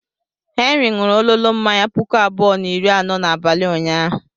Henry ṅụrụ ololo mmanya puku abụọ na iri anọ n'abalị ụnyaahụ.